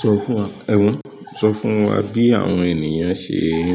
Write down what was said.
Sọ fún wa, ẹ̀hun, sọ fún wa bí àwọn ènìyàn ṣe ń